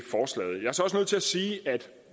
at sige at